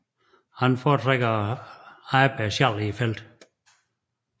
Han foretrækker at arbejde alene i felten